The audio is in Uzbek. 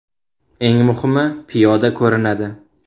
Eng muhimi, piyoda ko‘rinadi.